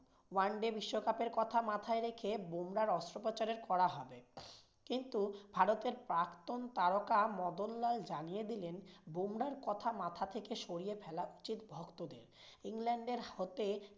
One day বিশ্বকাপের কথা মাথায় রেখে বুমরাহর অস্ত্রোপচার করা হবে। কিন্তু ভারতের প্রাক্তন তারকা মদনলাল জানিয়ে দিলেন বুমরাহর কথা মাথা থেকে সরিয়ে ফেলা উচিত ভক্তদের, ইংল্যান্ডের হতে